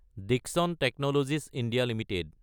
দিশন technologies (India) Ltd